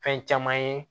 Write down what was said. Fɛn caman ye